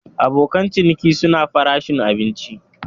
Abokin ciniki suna farashin abinci.